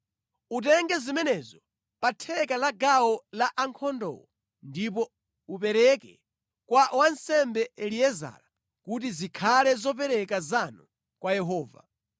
Utenge zimenezo pa theka la gawo la ankhondowo ndipo upereke kwa wansembe Eliezara kuti zikhale zopereka zanu kwa Yehova.